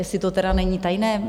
Jestli to tedy není tajné.